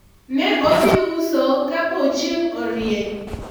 ne odhi uso kapo chieng' orieny